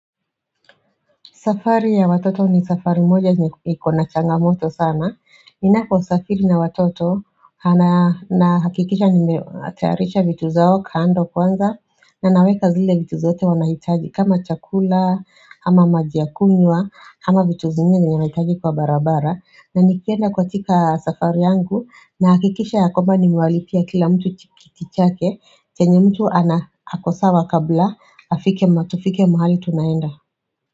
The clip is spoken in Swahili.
Safari ya watoto ni safari moja ni iko changamoto sana. Ninapo safiri na watoto na hakikisha nimetayarisha vitu zao kando kwanza na naweka zile vitu zote wanahitaji kama chakula ama maji ya kunywa ama vitu zingine n wanahitaji kwa barabara na nikienda kwa tika safari yangu na hakikisha ya kwamba ni nimewalipia kila mtu chikichi chake chenye mtu ako sawa kabla afike ma tufike mahali tunaenda.